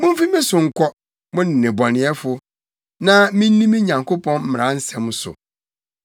Mumfi me so nkɔ, mo nnebɔneyɛfo, na minni me Nyankopɔn mmara nsɛm so!